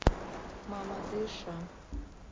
мамадыша